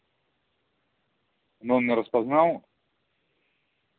номер распознал